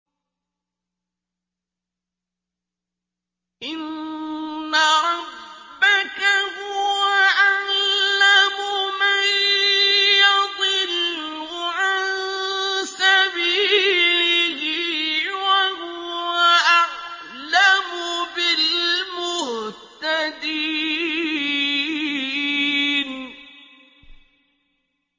إِنَّ رَبَّكَ هُوَ أَعْلَمُ مَن يَضِلُّ عَن سَبِيلِهِ ۖ وَهُوَ أَعْلَمُ بِالْمُهْتَدِينَ